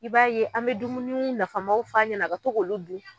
I b'a ye an bɛ dumuni nafamaw f'a ɲɛna a ka to k'olu dun